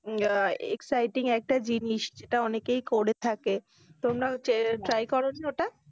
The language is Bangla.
আহ exciting একটা জিনিস, সেটা অনেকেই করে থাকে, তোমরা হচ্ছে try করোনি ওটা?